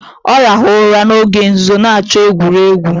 Ọ rahụru ụra n'oge nzuzo na-achọ egwuregwu